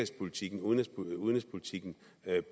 sige at